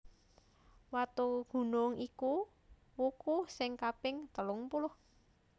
Watugunung iku wuku sing kaping telungpuluh